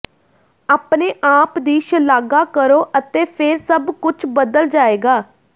ਆਪਣੇ ਆਪ ਦੀ ਸ਼ਲਾਘਾ ਕਰੋ ਅਤੇ ਫਿਰ ਸਭ ਕੁਝ ਬਦਲ ਜਾਏਗਾ